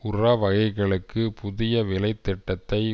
உர வகைகளுக்கு புதிய விலைத் திட்டத்தை